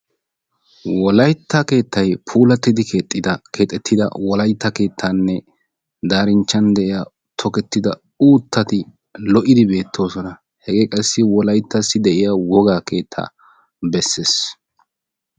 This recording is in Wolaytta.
wolaytta keettay puulatidi keexxida keexxettida wolaytta keettanne darinchchan de'iyaa tokkettida uuttati lo''idi beettoosona. hegee qassi wolaytassi de'iyaa wogaa keetta beessees.